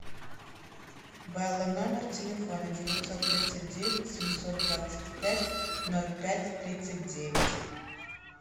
белла номер телефона девятьсот тридцать девять семьсот двадцать пять ноль пять тридцать девять